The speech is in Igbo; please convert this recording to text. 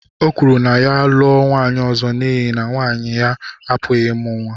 O kwuru na ya lụọ nwaanyị ọzọ n’ihi na nwunye ya apụghị ịmụ nwa.